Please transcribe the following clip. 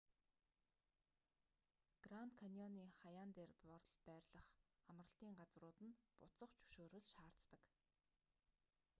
гранд каньоны хаяан дор байрлах амралтын газрууд нь буцах зөвшөөрөл шаарддаг